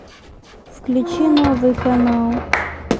включи новый